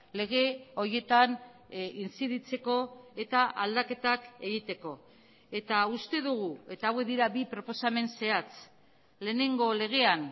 lege horietan intziditzeko eta aldaketak egiteko eta uste dugu eta hauek dira bi proposamen zehatz lehenengo legean